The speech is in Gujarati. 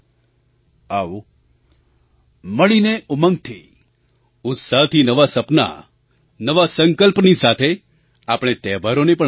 આવો મળીને ઉમંગથી ઉત્સાહથી નવા સપના નવા સંકલ્પની સાથે આપણે તહેવારોને પણ મનાવીએ